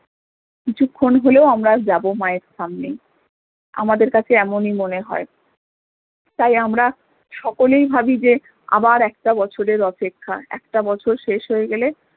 কিছুক্ষন হলেও আমরা যাবো মা এর সামনে আমাদের কাছে এমনই মনে হয় তাই আমরা সকলেই ভাবি যে আবার একটা বছরের অপেক্ষা একটা বছর শেষ হয়ে গেলে